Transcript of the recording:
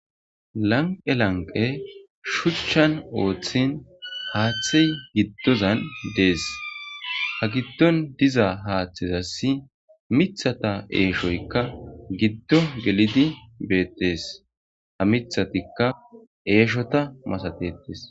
Lanqe lanqe shuchchan ooththin haaththey giddozan dees ha giddon diza haaththezassi mithata eeshoykka giddo gelidi beettes ha mithatikka eeshota masatetees.